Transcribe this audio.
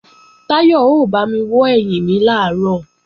Táyọ̀ ó bámi wọ́ ẹ̀yìn mi làárọ̀